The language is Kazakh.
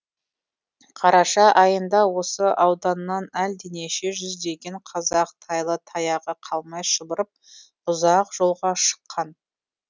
қараша айында осы ауданнан әлденеше жүздеген қазақ тайлы таяғы қалмай шұбырып ұзақ жолға шыққан